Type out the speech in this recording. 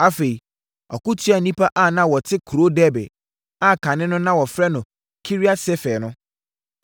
Afei, ɔko tiaa nnipa a na wɔte kuro Debir (a kane no na wɔfrɛ no Kiriat-Sefer) no.